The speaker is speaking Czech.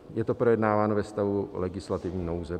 Je to projednáváno ve stavu legislativní nouze.